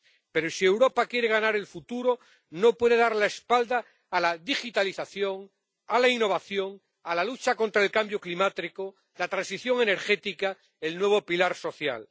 Pero, si Europa quiere ganar el futuro, no puede dar la espalda a la digitalización, a la innovación, a la lucha contra el cambio climático, la transición energética, el nuevo pilar social.